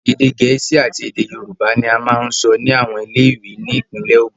Ède Gẹ̀ẹ́sì àti Ède Yorùbá ní a ń sọ ni àwọn ilé ìwé ní ìpínlè Ògún.